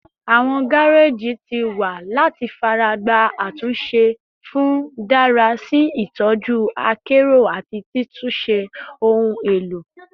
Awọn gareji ti wa ni o ti ṣe yẹ lati faragba atunse fun dara si itọju akero ati titunṣe ohun elo